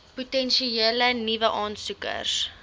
potensiële nuwe aansoekers